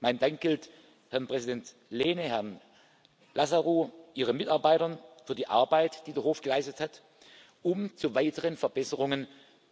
Mein Dank gilt Herrn Präsident Lehne, Herrn Lazarou, Ihren Mitarbeitern für die Arbeit, die der Hof geleistet hat, um zu weiteren Verbesserungen